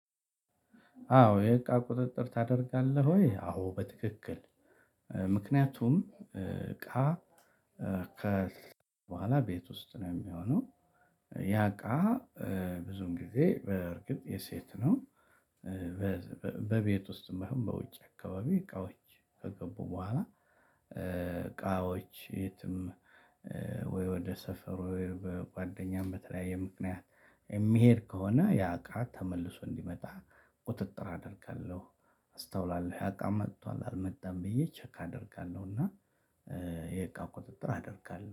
አዎ የእቃ ቁጥጥር ታደርጋለህ ወይ? አዎ በትክክል። ምክንያቱም እቃ ከ በኋላ ቤት ውስጥ ነው የሚሆነው። ያ እቃ ብዙን ጊዜ በእርግጥ የሴት ነው። በቤት ውስጥም ባይሆን በውጭ አካባቢ እቃውች ከገቡ በኋላ እቃዎች የትም ወይ ወደ ሰፈር ጓደኛም በተለያየ ምክንያት የሚሄድ ከሆነ ያውቃት ተመልሶ እንዲመጣ ቁጥጥር አደርጋለሁ። አስተውላለሁ ያእቃ መቷል አልመጣም ብዬ ቸክ አደርጋለሁና። የእቃ ቁጥጥር አደርጋለሁ